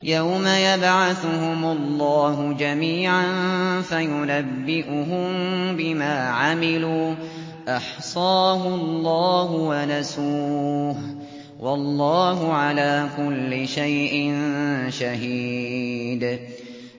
يَوْمَ يَبْعَثُهُمُ اللَّهُ جَمِيعًا فَيُنَبِّئُهُم بِمَا عَمِلُوا ۚ أَحْصَاهُ اللَّهُ وَنَسُوهُ ۚ وَاللَّهُ عَلَىٰ كُلِّ شَيْءٍ شَهِيدٌ